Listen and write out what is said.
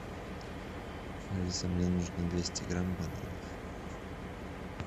алиса мне нужно двести грамм бананов